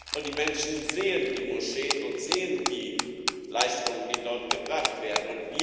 das, und die Menschen sehen die Moscheen und sehen die Leistungen, die dort gebracht werden.